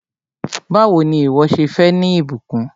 Báwò ni ìwọ́ ṣe fẹ́ ní ìbùkún?